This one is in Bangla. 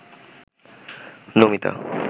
নমিতা